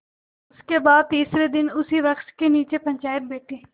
इसके बाद तीसरे दिन उसी वृक्ष के नीचे पंचायत बैठी